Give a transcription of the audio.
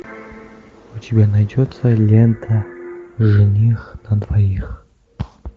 у тебя найдется лента жених на двоих